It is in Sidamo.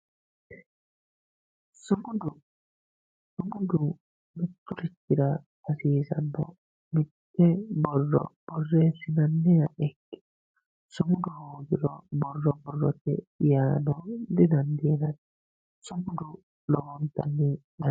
sumuda sumudu mitturichira hasiisanno mitte borro borreessinanniha ikkiro sumudaho borro borrote yaano didandiinanni sumudu lowontanni danchaho.